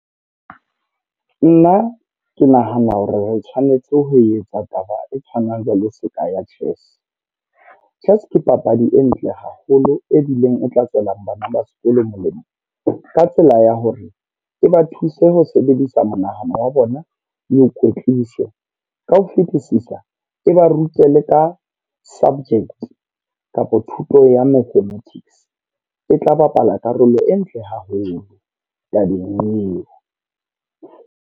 Nna ke nahana hore re tshwanetse ho etsa taba e tshwanang le seka ya chess. Chess ke papadi e ntle haholo e bileng etla tswelang bana ba sekolo molemo. Ka tsela ya hore, e ba thuse ho sebedisa monahano wa bona eo kwetlise. Ka ho fitisisa e ba rute leka subject kapa thuto ya mathematics. E tla bapala karolo e ntle haholo tabeng eo.